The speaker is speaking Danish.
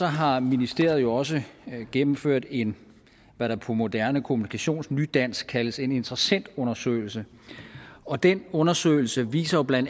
har ministeriet jo også gennemført en hvad der på moderne kommunikationsnydansk kaldes en interessentundersøgelse og den undersøgelse viser bla